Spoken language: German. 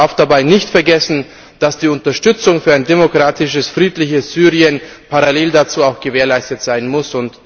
Man darf dabei nicht vergessen, dass die Unterstützung für ein demokratisches, friedliches Syrien parallel dazu auch gewährleistet sein muss.